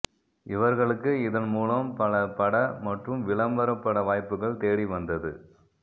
இவர்களுக்கு இதன் மூலம் பல பட மற்றும் விளம்பர பட வாய்ப்புக்கள் தேடி வந்தது